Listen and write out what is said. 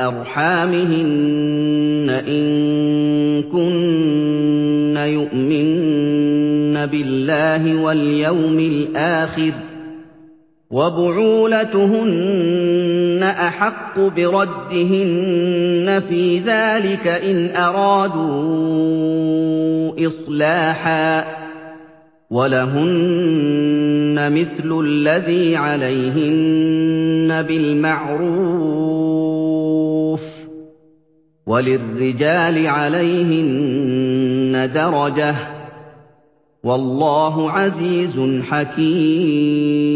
أَرْحَامِهِنَّ إِن كُنَّ يُؤْمِنَّ بِاللَّهِ وَالْيَوْمِ الْآخِرِ ۚ وَبُعُولَتُهُنَّ أَحَقُّ بِرَدِّهِنَّ فِي ذَٰلِكَ إِنْ أَرَادُوا إِصْلَاحًا ۚ وَلَهُنَّ مِثْلُ الَّذِي عَلَيْهِنَّ بِالْمَعْرُوفِ ۚ وَلِلرِّجَالِ عَلَيْهِنَّ دَرَجَةٌ ۗ وَاللَّهُ عَزِيزٌ حَكِيمٌ